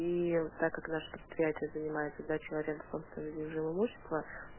и так как наше предприятие занимается сдачей в аренду собственным движимым имуществом